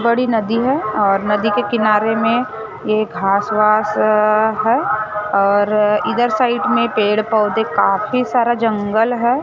बड़ी नदी है और नदी के किनारे में ये घास वास है और इधर साइड में पेड़ पौधे काफी सारा जंगल है।